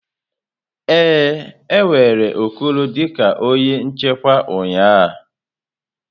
Ee, e were Okoro dị ka onye nchekwa ụnyaahụ.